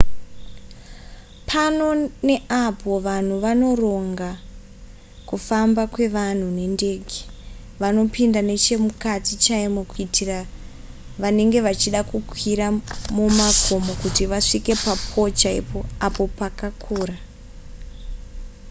pano neapo vanhu vanoronga kufamba kwevanhu nendege vanopinda nechemukati chaimo kuitira vanenge vachida kukwira makomo kuti vasvike papole chaipo apo pakakura